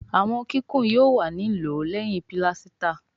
àwọn kíkún yóò wá ní lòó léhìn pilasita